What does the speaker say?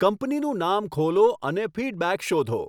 કંપનીનું નામ ખોલો અને ફીડબેક શોધો